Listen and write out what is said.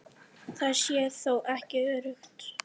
Það sé þó ekki öruggt.